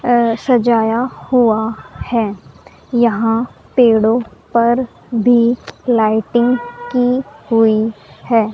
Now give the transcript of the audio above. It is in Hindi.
सजाया हुआ है यहां पेड़ों पर भी लाइटिंग की हुई है।